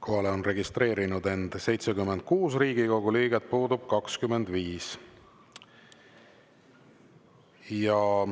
Kohalolijaks on registreerinud end 76 Riigikogu liiget, puudub 25.